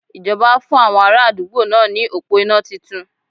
Ìjọba fún àwọn ara àdúgbò náà ní òpó iná titun